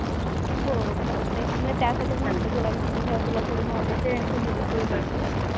हो चालतंय की. मग त्यासाठीच म्हंटलं तुला विचारून घ्यावं. तुला थोडी नॉलेज आहे आणि तू मुलीचं उघडलंयस.